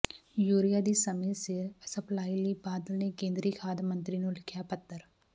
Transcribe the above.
urea ਦੀ ਸਮੇਂ ਸਿਰ ਸਪਲਾਈ ਲਈ ਬਾਦਲ ਨੇ ਕੇਂਦਰੀ ਖਾਦ ਮੰਤਰੀ ਨੂੰ ਲਿਖਿਆ ਪੱਤਰ